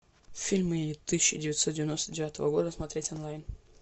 фильмы тысяча девятьсот девяносто девятого года смотреть онлайн